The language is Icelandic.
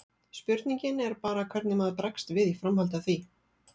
Spurningin er bara hvernig maður bregst við í framhaldi af því.